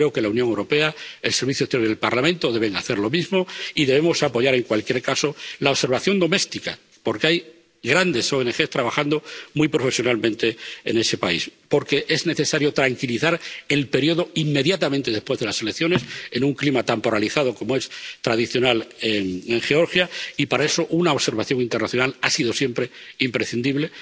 Creo que la Unión Europea, el Servicio Europeo de Acción Exterior y el Parlamento deben hacer lo mismo y debemos apoyar, en cualquier caso, la observación doméstica, porque hay grandes ONG trabajando muy profesionalmente en ese país. Porque es necesario tranquilizar el periodo inmediatamente después de las elecciones, en un clima tan polarizado como es tradicional en Georgia y, para eso, una observación internacional ha sido siempre imprescindible.